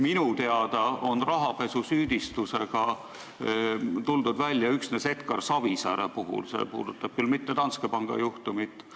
Minu teada on rahapesusüüdistusega tuldud välja üksnes Edgar Savisaare puhul ja see ei puuduta küll Danske panga juhtumit.